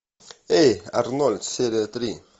эй арнольд серия три